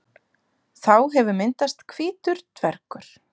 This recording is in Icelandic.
Þá hefur myndast hvítur dvergur.